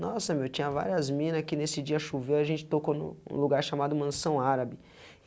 Nossa, meu, tinha várias mina que nesse dia choveu, a gente tocou num lugar chamado Mansão Árabe.